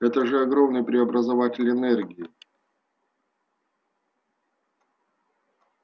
это же огромный преобразователь энергии